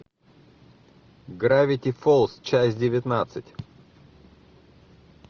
гравити фолз часть девятнадцать